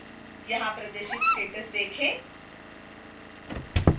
यहां प्रदर्शित status देखें